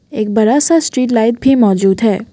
एक बड़ा सा स्ट्रीट लाइट भी मौजूद है।